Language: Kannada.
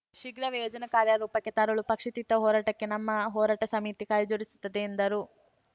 ಶೀಘ್ರವೇ ಯೋಜನೆ ಕಾರ್ಯ ರೂಪಕ್ಕೆ ತರಲು ಪಕ್ಷಾತೀತ ಹೋರಾಟಕ್ಕೆ ನಮ್ಮ ಹೋರಾಟ ಸಮಿತಿ ಕೈ ಜೋಡಿಸುತ್ತದೆ ಎಂದರು